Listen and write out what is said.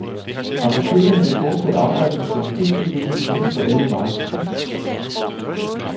Apotekerne vil fortsat arbejde med kvalitetsudvikling inden for alle varetyper.